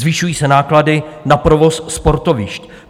Zvyšují se náklady na provoz sportovišť.